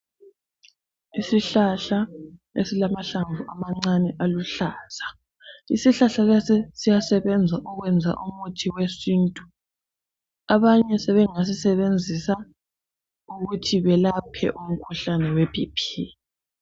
Isihlahla esilamahlamvu amancane aluhlaza, isihlahla lesi siyasebenza ukwenza umuthi wesintu, abanye sebengasisebenzisa ukuthi belaphe umkhuhlane weBP.